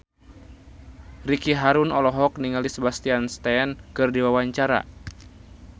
Ricky Harun olohok ningali Sebastian Stan keur diwawancara